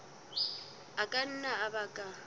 a ka nna a baka